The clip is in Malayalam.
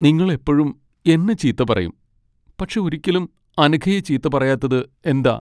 നിങ്ങൾ എപ്പഴും എന്നെ ചീത്ത പറയും, പക്ഷെ ഒരിക്കലും അനഘയെ ചീത്ത പറയാത്തത് എന്താ?